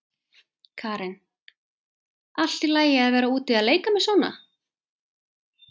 Karen: Allt í lagi að vera úti að leika með svona?